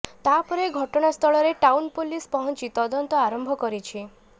ତା ପରେ ଘଟଣାସ୍ଥଳରେ ଟାଉନ ପୋଲିସ ପହଞ୍ଚି ତଦନ୍ତ ଆରମ୍ଭ କରିଛି